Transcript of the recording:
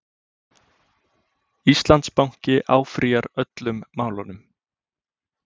Íslandsbanki áfrýjar öllum málunum